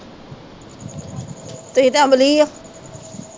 ਤੁਹੀ ਤਾ ਅਮਲੀ ਓ